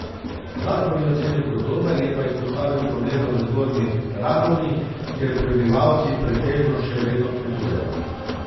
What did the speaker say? Zakon je ocenil kot dober, je pa izpostavil probleme v Zgornji Radovni, kjer prebivalci pretežno še vedno kmetujejo.